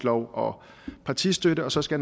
og partistøtte og så skal